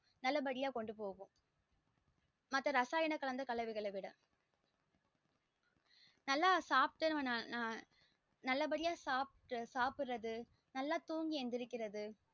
நல்ல படிய கொண்டு போகும் மத்த ரசாயன கலந்த கலவைகள விட நல்ல சாப்ட்டு நல்ல படிய சாப்டு சாப்டறது நல்ல தூங்கி எழுந்திருக்றது நல்ல படியா கொண்டு போகும்